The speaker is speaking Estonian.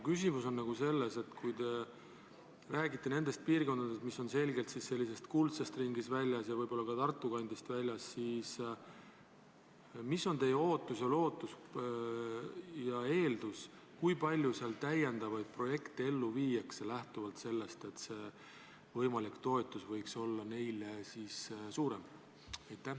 Kui te räägite nendest piirkondadest, mis on selgelt sellest kuldsest ringist väljas ja võib-olla ka Tartu kandist väljas, siis mis on teie ootus ja lootus ja eeldus, kui palju seal täiendavaid projekte ellu viiakse, lähtuvalt sellest, et võimalik toetus võiks olla suurem?